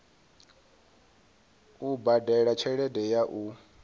u badela tshelede ya u